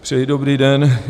Přeji dobrý den.